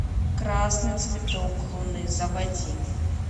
красный цветок луны заводи